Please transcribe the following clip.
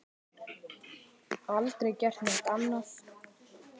Aldrei gert neitt annað.